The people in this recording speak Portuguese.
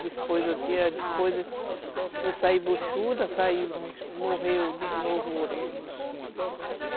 Depois eu saí buchuda, morreu de novo o outro.